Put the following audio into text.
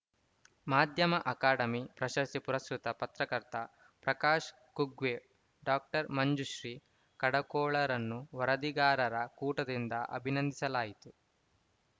ಮಾಧ್ಯಮ ಅಕಾಡೆಮಿ ಪ್ರಶಸ್ತಿ ಪುರಸ್ಕೃತ ಪತ್ರಕರ್ತ ಪ್ರಕಾಶ್ ಕುಗ್ವೆ ಡಾಮಂಜುಶ್ರೀ ಕಡಕೋಳರನ್ನು ವರದಿಗಾರರ ಕೂಟದಿಂದ ಅಭಿನಂದಿಸಲಾಯಿತು